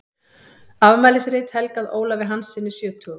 Afmælisrit helgað Ólafi Hanssyni sjötugum.